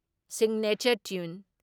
Signature tune.